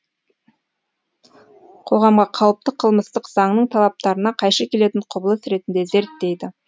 қоғамға қауіпті қылмыстық заңның талаптарына қайшы келетін құбылыс ретінде зерттейді